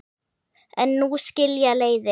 En nú skilja leiðir.